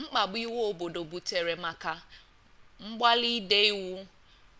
mkpadu iwe obodo butere maka mgbali ide iwu